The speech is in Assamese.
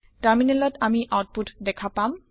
টাৰমিনেলত আমি আওতপুত দেখা পাম